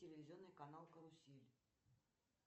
телевизионный канал карусель